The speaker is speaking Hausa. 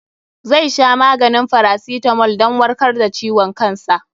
Zai sha maganin farasitamol dan warkar da ciwon kansa.